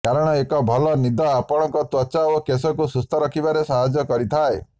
କାରଣ ଏକ ଭଲ ନିଦ ଆପଣଙ୍କ ତ୍ୱଚା ଓ କେଶକୁ ସୁସ୍ଥ ରଖିବାରେ ସାହାଯ୍ୟ କରିଥାଏ